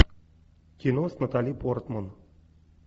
кино с натали портман